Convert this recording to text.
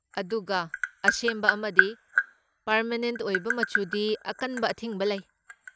ꯑꯗꯨꯒ, ꯑꯁꯦꯝꯕ ꯑꯃꯗꯤ ꯄꯥꯔꯃꯦꯅꯦꯟ ꯑꯣꯏꯕ ꯃꯆꯨꯗꯤ ꯑꯀꯟꯕ ꯑꯊꯤꯡꯕ ꯂꯩ꯫